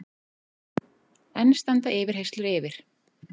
Enn standa yfirheyrslur yfir